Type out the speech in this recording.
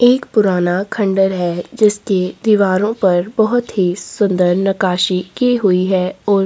एक पुराना खंडर है जिसके दिवारो पर बहुत ही सुन्दर नकाशी की हुयी है और --